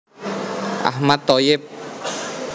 Ahmad Thoyyib